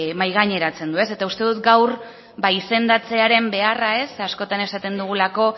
mahai gaineratzen du eta uste dut gaur ba izendatzearen beharra ez askotan esaten dugulako